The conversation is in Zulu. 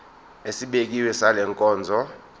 esibekiwe sale nkonzo